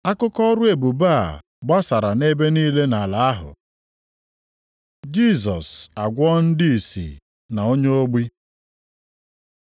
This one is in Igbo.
Akụkọ ọrụ ebube a gbasara nʼebe niile nʼala ahụ. Jisọs agwọọ ndị ìsì na onye ogbi